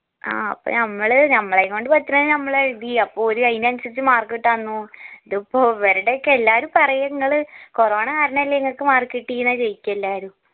ആ അപ്പൊ നമ്മള് നമ്മളേം കൊണ്ട് പറ്റണത് ഞമ്മള് എഴിതി അപ്പോ ഓര് ആയിനനുസരിച് mark ഇട്ടന്നു ഇതിപ്പോ ഇവർടെ ഒക്കെ എല്ലാരും പറയ്ന്ന നിങ്ങള് corona കാരണല്ലെ നിങ്ങക്ക് mark കിട്ടീന്നാ ചോയ്ക്ക എല്ലാരും